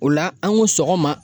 O la an ko sɔgɔma